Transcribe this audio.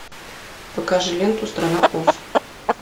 покажи ленту страна оз